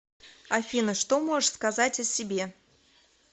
афина что можешь сказать о себе